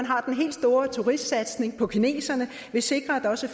har den helt store turistsatsning på kineserne sikrer at der også